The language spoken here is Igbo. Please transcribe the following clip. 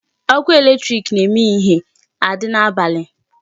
Ọkụ electric na-eme ihie adị n'abalị.